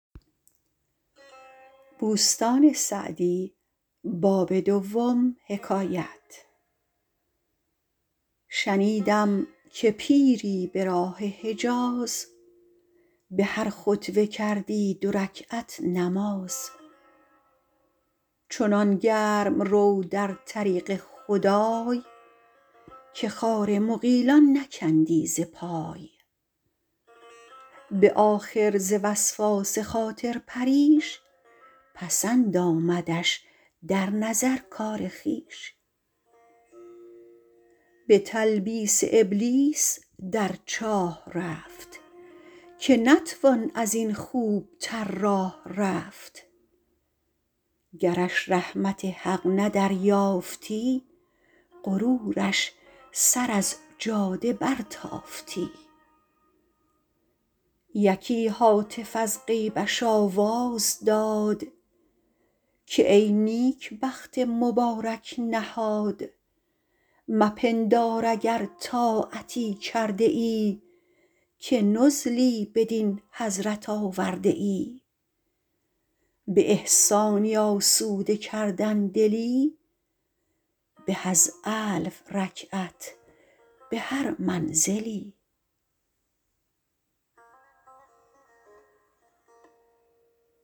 شنیدم که پیری به راه حجاز به هر خطوه کردی دو رکعت نماز چنان گرم رو در طریق خدای که خار مغیلان نکندی ز پای به آخر ز وسواس خاطر پریش پسند آمدش در نظر کار خویش به تلبیس ابلیس در چاه رفت که نتوان از این خوب تر راه رفت گرش رحمت حق نه دریافتی غرورش سر از جاده برتافتی یکی هاتف از غیبش آواز داد که ای نیکبخت مبارک نهاد مپندار اگر طاعتی کرده ای که نزلی بدین حضرت آورده ای به احسانی آسوده کردن دلی به از الف رکعت به هر منزلی